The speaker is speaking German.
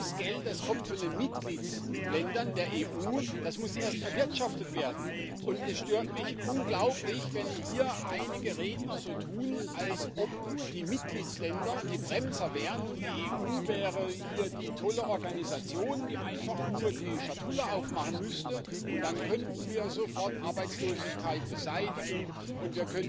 Das ist Geld, das kommt von den Mitgliedstaaten der EU, das muss erst erwirtschaftet werden. Es stört mich unglaublich, wenn hier einige Redner so tun, als ob die Mitgliedstaaten die Bremser wären und die EU hier die tolle Organisation wäre, die einfach nur die Schatulle aufmachen müsste und dann könnten wir sofort Arbeitslosigkeit beseitigen und